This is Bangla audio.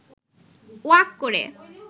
ওয়াক করে